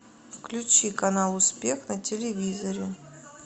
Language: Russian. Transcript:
включи канал успех на телевизоре